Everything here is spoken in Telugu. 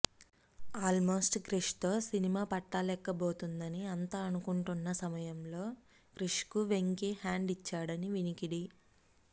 ఆల్మోస్ట్ క్రిష్ తో సినిమా పట్టాలెక్కబోతుందని అంత అనుకుంటున్నా సమయం లో క్రిష్ కు వెంకీ హ్యాండ్ ఇచ్చాడని వినికిడి